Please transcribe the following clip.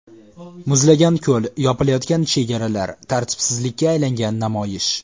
Muzlagan ko‘l, yopilayotgan chegaralar, tartibsizlikka aylangan namoyish.